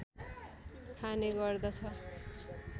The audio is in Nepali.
खाने गर्दछ